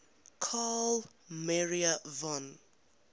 carl maria von